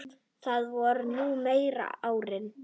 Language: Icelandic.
Það voru nú meiri árin.